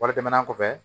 Wari tɛmɛnen kɔfɛ